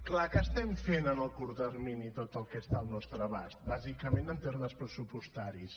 clar que estem fent en el curt termini tot el que està al nostre abast bàsicament en termes pressupostaris